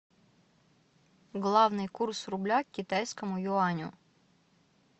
главный курс рубля к китайскому юаню